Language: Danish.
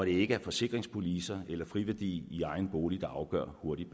ikke er forsikringspolicer eller friværdi i egen bolig der afgør hvor hurtig